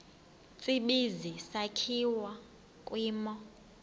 tsibizi sakhiwa kwimo